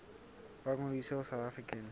ba ngodise ho south african